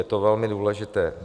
Je to velmi důležité.